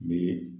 Bi